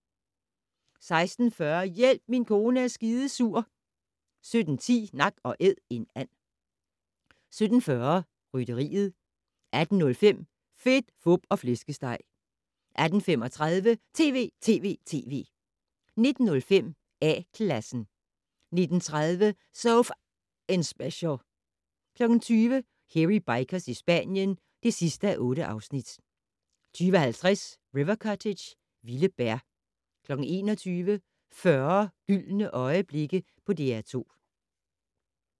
16:40: Hjælp, min kone er skidesur 17:10: Nak & Æd - en and 17:40: Rytteriet 18:05: Fedt, Fup og Flæskesteg 18:35: TV!TV!TV! 19:05: A-Klassen 19:30: So F***ing Special 20:00: Hairy Bikers i Spanien (8:8) 20:50: River Cottage - vilde bær 21:00: 40 gyldne øjeblikke på DR2